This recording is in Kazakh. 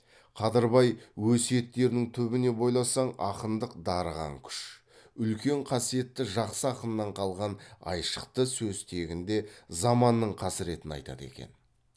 қадырбай өсиеттерінің түбіне бойласаң ақындық дарыған күш үлкен қасиетті жақсы ақыннан қалған айшықты сөз тегінде заманның қасіретін айтады екен